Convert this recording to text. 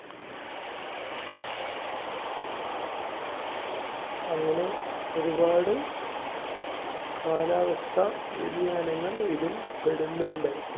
അങ്ങനെ ഒരുപാട് കാലാവസ്ഥ വ്യതിയാനങ്ങൾ ഇതിൽ പെടുന്നുണ്ട്.